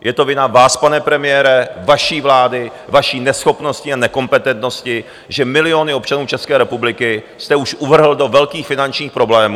Je to vina vás, pane premiére, vaší vlády, vaší neschopnosti a nekompetentnosti, že miliony občanů České republiky jste už uvrhl do velkých finančních problémů.